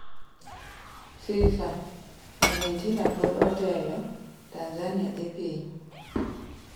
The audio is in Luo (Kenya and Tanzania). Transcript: FIFA: Argentina pod otelo, Tanzania dhi piny